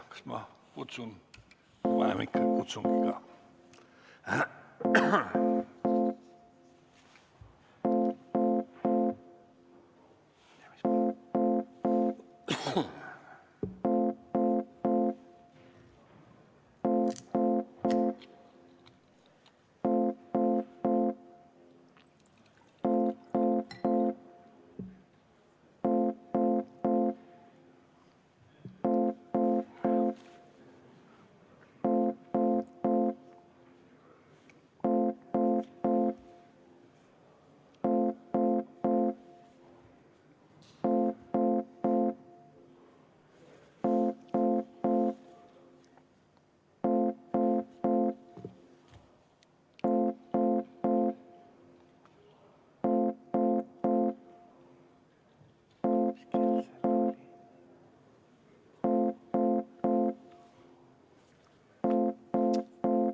Kas ma kutsun?